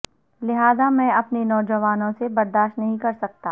لہذا میں اپنے نوجوانوں سے برداشت نہیں کر سکتا